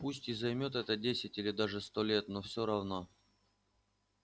пусть и займёт это десять или даже сто лет но все равно